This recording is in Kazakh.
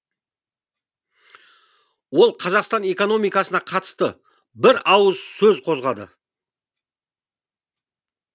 ол қазақстан экономикасына қатысты бір ауыз сөз қозғады